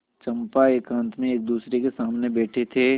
चंपा एकांत में एकदूसरे के सामने बैठे थे